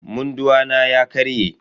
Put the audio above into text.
Munduwa na ya karye.